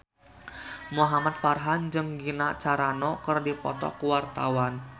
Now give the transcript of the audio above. Muhamad Farhan jeung Gina Carano keur dipoto ku wartawan